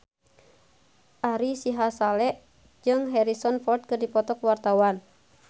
Ari Sihasale jeung Harrison Ford keur dipoto ku wartawan